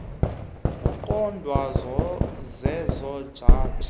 kuqondwa zezo jaji